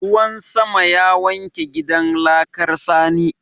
Ruwan sama ya wanke gidan laƙar sani.